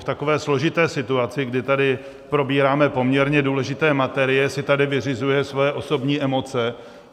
V takové složité situaci, kdy tady probíráme poměrně důležité materie, si tady vyřizuje své osobní emoce.